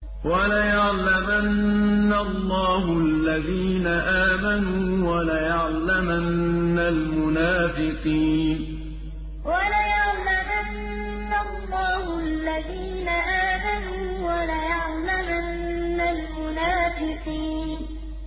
وَلَيَعْلَمَنَّ اللَّهُ الَّذِينَ آمَنُوا وَلَيَعْلَمَنَّ الْمُنَافِقِينَ وَلَيَعْلَمَنَّ اللَّهُ الَّذِينَ آمَنُوا وَلَيَعْلَمَنَّ الْمُنَافِقِينَ